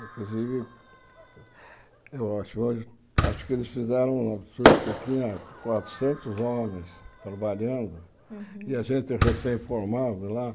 Inclusive, eu acho hoje acho que eles fizeram um absurdo, porque tinha quatrocentos homens trabalhando Uhum e a gente recém-formado lá.